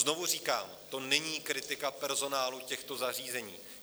Znovu říkám, to není kritika personálu těchto zařízení.